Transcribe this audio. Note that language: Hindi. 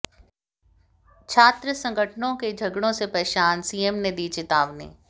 छात्र संगठनों के झगड़ों से परेशान सीएम ने दी चेतावनी